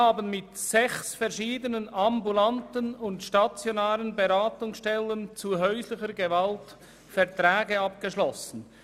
Mit sechs verschiedenen ambulanten und stationären Beratungsstellen für häusliche Gewalt haben wir Verträge abgeschlossen.